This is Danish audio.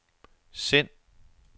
send